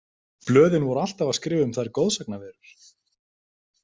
Blöðin voru alltaf að skrifa um þær goðsagnaverur.